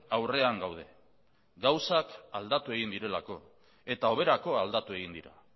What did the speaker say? aurrean gaude gauzak aldatu egin direlako eta hoberako aldatu egin dira